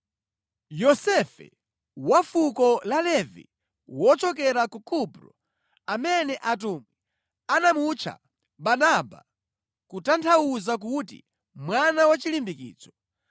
Yosefe, wa fuko la Levi, wochokera ku Kupro amene atumwi anamutcha Barnaba, kutanthauza kuti mwana wachilimbikitso,